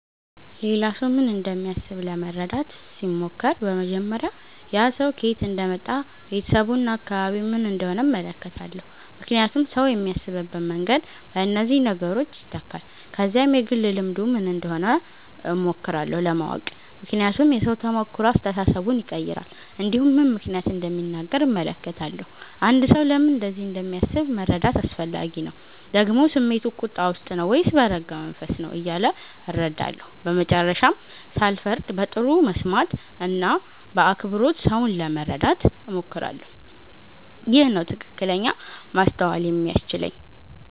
ሌላ ሰው ምን እንደሚያስብ ለመረዳት ሲሞክር በመጀመሪያ ያ ሰው ከየት እንደመጣ ቤተሰቡ እና አካባቢው ምን እንደሆነ እመለከታለሁ ምክንያቱም ሰው የሚያስብበት መንገድ በእነዚህ ነገሮች ይተካል ከዚያም የግል ልምዱ ምን እንደሆነ እሞክራለሁ ለማወቅ ምክንያቱም የሰው ተሞክሮ አስተሳሰቡን ይቀይራል እንዲሁም ምን ምክንያት እንደሚናገር እመለከታለሁ አንድ ሰው ለምን እንደዚህ እንደሚያስብ መረዳት አስፈላጊ ነው ደግሞ ስሜቱ ቁጣ ውስጥ ነው ወይስ በረጋ መንፈስ ነው እያለ እረዳለሁ በመጨረሻም ሳልፈርድ በጥሩ መስማት እና በአክብሮት ሰውን ለመረዳት እሞክራለሁ ይህ ነው ትክክለኛ ማስተዋል የሚያስችለኝ